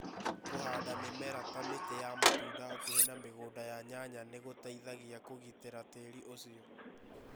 Kũhanda mĩmera ta mĩtĩ ya matunda hakuhĩ na mĩgũnda ya nyanya nĩ gũteithagia kũgitĩra tĩĩri ũcio.